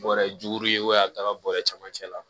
Bɔrɛ juguru ye a bɛ taga bɔrɛ camancɛ la